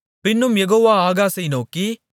பின்னும் யெகோவா ஆகாசை நோக்கி